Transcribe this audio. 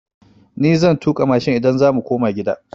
Ni zan tuƙa mashin idan za mu koma gida.